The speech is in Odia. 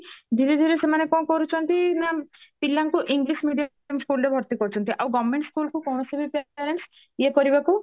ଧୀରେ ଧୀରେ ସେମାନେ କଣ କରୁଛନ୍ତି ନାଁ ପିଲାଙ୍କୁ english medium schoolରେ ଭର୍ତି କରୁଛନ୍ତି ଆଉ government school କୁ କୌଣସି ବି parents ଇଏ କରିବାକୁ